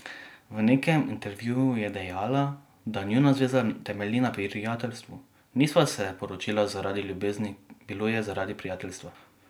V nekem intervjuju je dejala, da njuna zveza temelji na prijateljstvu: "Nisva se poročila zaradi ljubezni, bilo je zaradi prijateljstva.